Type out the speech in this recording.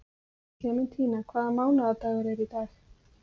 Klementína, hvaða mánaðardagur er í dag?